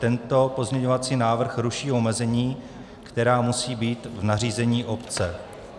Tento pozměňovací návrh ruší omezení, která musí být v nařízení obce.